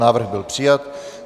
Návrh byl přijat.